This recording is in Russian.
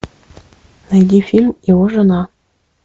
найди фильм его жена